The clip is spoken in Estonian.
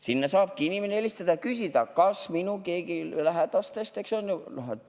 Sinna saab inimene helistada ja küsida, kas keegi tema lähedastest, ma ei tea, on haiglas.